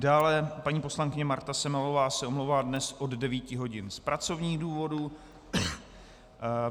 Dále paní poslankyně Marta Semelová se omlouvá dnes od 9.00 hodin z pracovních důvodů.